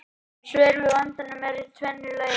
Svör við vandanum eru af tvennu tagi.